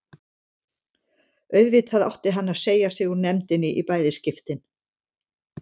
Auðvitað átti hann að segja sig úr nefndinni í bæði skiptin.